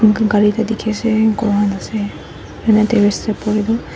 moikah gari ekta dekhe ase ase terrace dae buhivo.